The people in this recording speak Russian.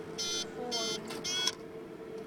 форум